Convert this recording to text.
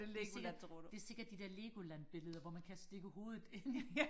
det sikkert det sikkert de der Legoland billeder hvor man kan stikke hovedet ind